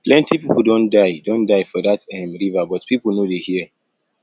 plenty people don die don die for dat um river but people no dey hear